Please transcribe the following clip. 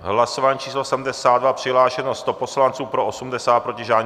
Hlasování číslo 72, přihlášeno 100 poslanců, pro 80, proti žádný.